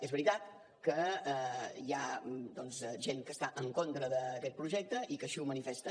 és veritat que hi ha doncs gent que està en contra d’aquest projecte i que així ho manifesta